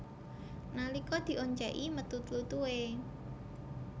Nalika dioncèki metu tlutuhé